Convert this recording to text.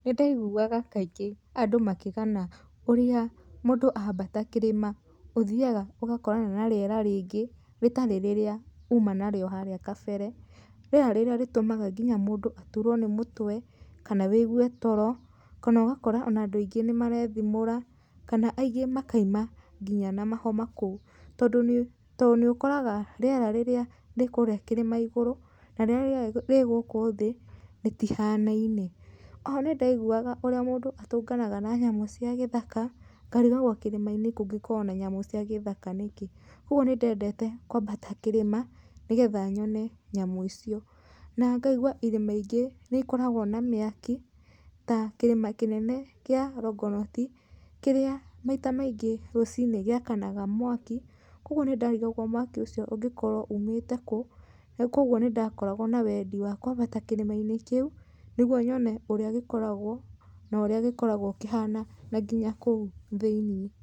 Nĩndaĩgũaga kaingĩ andũ makĩgana ũrĩa mũndũ ambata kĩrĩma ũthiaga ũgakorana na rĩera rĩingĩ rĩtarĩ rĩra ũma narĩo harĩa kabere rĩera rĩra rĩtũmaga nginya mũndũ atũrwo nĩ mũtwe kana wĩigũe toro kana ũgakora andũ aingĩ nĩmaraethimũra kana aingĩ makaũma nginya na mahoma kũu tondũ nĩ ũkoraga rĩera rĩrĩa rĩ kũrĩa kĩrĩma ĩgũrũ na rĩrĩa rĩ gũkũ thĩ rĩtihanaine , oho nĩ ndaigũaga ũrĩa mũndũ atũnganaga na nyũmũ cia gĩthaka ngarigagwo kĩrĩma inĩ kũngĩkorwo na nyamũ cia gĩthaka nĩkĩ, kũogũo nĩ ndendete kwambata kĩrĩma nĩgetha nyone nyamũ icio na ngaigũa irĩma ingĩ nĩ ikoragwo na mĩakĩ ta kĩrĩma kĩnene kĩa Longonot nĩrĩa maĩta maĩngĩ rũcinĩ gĩakanaga mwaki kũogũ nĩ ndarĩgawo mwaki ũcio ũngĩkorwo ũmĩte kũ na kũogũo nĩ ndakoragwo na wendi wa kwambata kĩrĩma inĩ kĩũ nĩ gũo nyone ũrĩa gĩkoragwo na ũrĩa gĩkoragwo kĩhana na nginya kũu thĩinĩ.